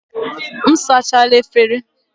M sachala efere.